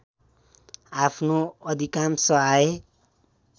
आफ्नो अधिकांश आय